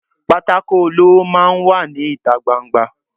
pàtàkó olọwọ máà ń wà ní itá gbá- n-gbà